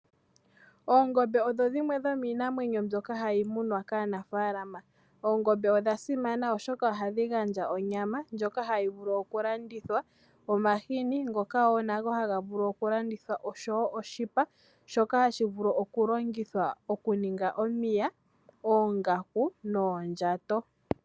Oongombe ohadhi munwa kaanafaalama nodha simana oshoka ohadhi gandja onyama nomahini mbyoka hayi vulu okulandithwa. Ohadhi gandja oshipa shoka hashi vulu okulongithwa okuninga omiya, oongaku noondjato.